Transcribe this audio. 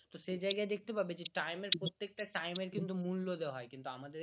তো সেই জায়গায় দেখতে পাবে time এর প্রত্যেকটা time এর কিন্তু মূল্য দেওয়া হয় কিন্তু আমাদের